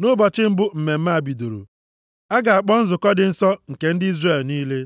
Nʼụbọchị mbụ mmemme a bidoro, a ga-akpọ nzukọ dị nsọ nke ndị Izrel niile.